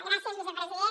gràcies vicepresident